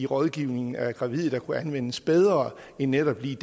rådgivningen af gravide der kunne anvendes bedre end netop lige